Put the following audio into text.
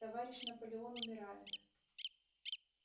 товарищ наполеон умирает